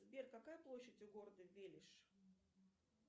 сбер какая площадь у города велиж